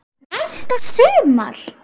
Næsta sumar?